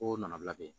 O nana bila yen